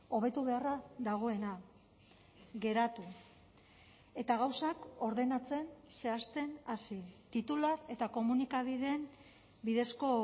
hobetu beharra dagoena geratu eta gauzak ordenatzen zehazten hasi titular eta komunikabideen bidezko